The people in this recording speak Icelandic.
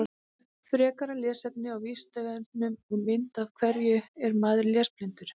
Frekara lesefni á Vísindavefnum og mynd Af hverju er maður lesblindur?